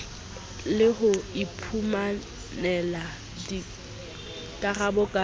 le ho iphumanela dikarabo ka